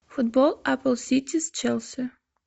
футбол апл сити с челси